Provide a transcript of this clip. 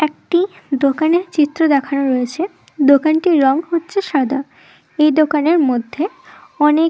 একটি দোকানের চিত্র দেখানো রয়েছে দোকানটির রং হচ্ছে সাদা। এই দোকানের মধ্যে অনেক--